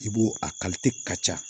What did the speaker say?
I b'o a ka ca